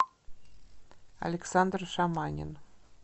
александр шаманин